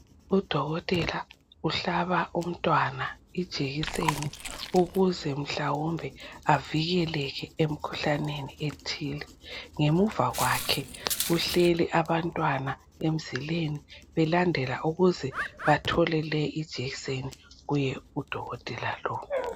Udokotela uhlaba umntwana ijekiseni ukuze mhlawumbe avikeleke emkhuhlaneni ethile. Ngemuva kwakhe kuhleli abantwana emzileni belandela ukuze bathole le ijekseni kuye kudokotela lo.